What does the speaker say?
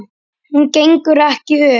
Hún gengur ekki upp.